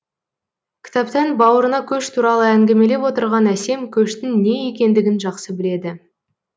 кітаптан бауырына көш туралы әңгімелеп отырған әсем көштің не екендігін жақсы біледі